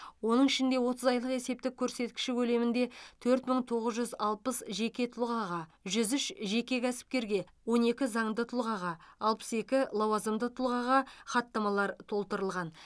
оның ішінде отыз айлық есептік көрсеткіші көлемінде төрт мың тоғыз жүз алпыс жеке тұлғаға жүз үш жеке кәсіпкерге он екі заңды тұлғаға алпыс екі лауазымды тұлғаға хаттамалар толтырылған